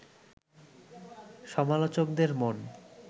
সমালোচকদের মন